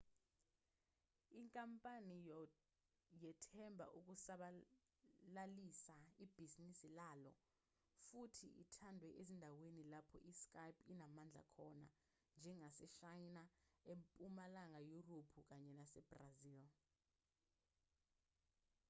inkampani yethemba ukusabalalisa ibhizinisi layo futhi ithandwe ezindaweni lapho i-skype inamandla khona njengaseshayina empumalanga yurophu kanye nasebrazil